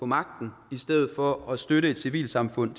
magten i stedet for at støtte et civilsamfund